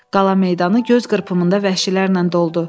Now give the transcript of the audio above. Qala meydanı göz qırpımında vəhşilərlə doldu.